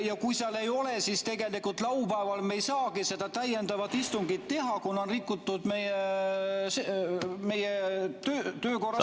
Ja kui seal ei ole, siis tegelikult laupäeval me ei saagi seda täiendavat istungit teha, kuna on rikutud meie töökorra seadust ...